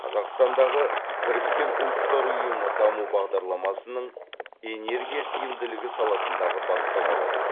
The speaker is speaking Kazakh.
қазақстандағы біріккен ұлттар ұйымы даму бағдарламасының энергия тиімділігі саласындағы бастамаларын